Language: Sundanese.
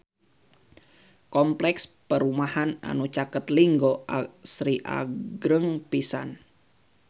Kompleks perumahan anu caket Linggo Asri agreng pisan